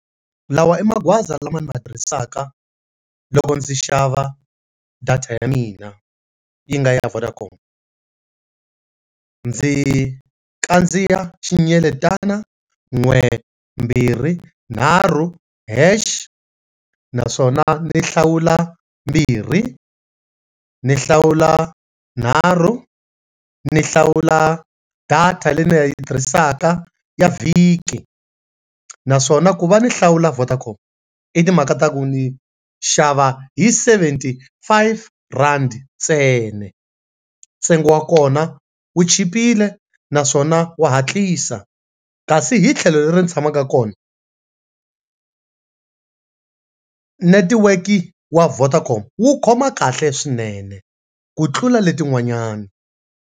Lawa i maghoza lama ni ma tirhisaka loko ndzi xava data ya mina yi nga ya Vodacom ndzi kandziya xinyeletana n'we, mbirhi, nharhu, hash naswona ndzi hlawula mbirhi ni hlawula nharhu ni hlawula data leyi ni nga yi tirhisaka ya vhiki naswona ku va ni hlawula Vodacom i timhaka ta ku ni xava hi seventy five rand ntsena, ntsengo wa kona wu chipile naswona wa hatlisa kasi hi tlhelo leri ni tshamaka kona, netiweke wa Vodacom wu khoma kahle swinene ku tlula letin'wanyana.